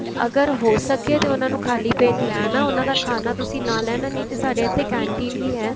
ਅਗਰ ਹੋ ਸਕੇ ਤੇ ਉਹਨਾ ਨੂੰ ਖ਼ਾਲੀ ਪੇਟ ਲੈ ਆਉਣਾ ਉਹਨਾ ਦਾ ਖਾਣਾ ਤੁਸੀਂ ਨਾਲ ਲੈ ਆਣਾ ਨਹੀਂ ਤੇ ਸਾਡੇ ਇੱਥੇ canteen ਵੀ ਹੈ